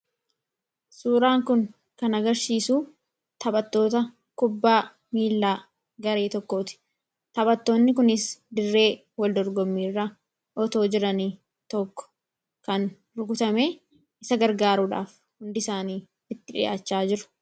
Suuraan kun kan agarsiisu taphattoota kubbaa miilaa garee tokkoti. Taphattoonni kunis dirree waldorgommiirra itoo jiranii tokko kan rukutame isa gargaaruudhaaf hundi isaanii itti dhi'aachaa jiru.